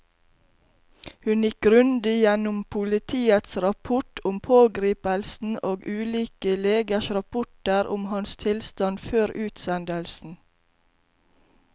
Hun gikk grundig gjennom politiets rapport om pågripelsen og ulike legers rapporter om hans tilstand før utsendelsen.